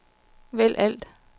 vælg alt